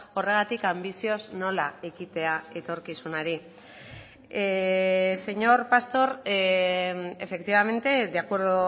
horregatik anbizioz nola ekitea etorkizunari señor pastor efectivamente de acuerdo